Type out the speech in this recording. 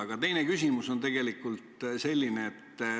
Aga teine küsimus on tegelikult selline.